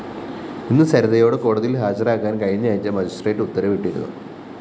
ഇന്ന് സരിതയോട് കോടതിയില്‍ ഹാജരാകാന്‍ കഴിഞ്ഞാഴ്ച മജിസ്ട്രേറ്റ്‌ ഉത്തരവിട്ടിരുന്നു